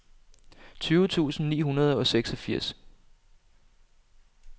tyve tusind ni hundrede og seksogfirs